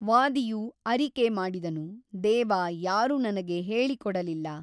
ವಾದಿಯು ಅರಿಕೆ ಮಾಡಿದನು ದೇವ ಯಾರೂ ನನಗೆ ಹೇಳಿಕೊಡಲಿಲ್ಲ.